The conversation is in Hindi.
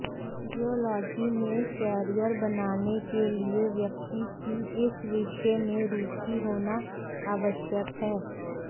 जियोलाजी में कैरियर बनाने के लिए व्यक्ति की इस विषय में रुचि होना आवश्यक है